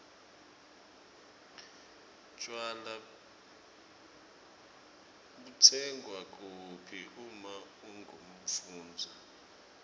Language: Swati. tjwala butsengwa kuphi uma ungumfundzi